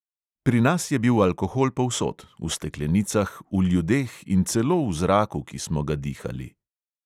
Pri nas je bil alkohol povsod: v steklenicah, v ljudeh in celo v zraku, ki smo ga dihali.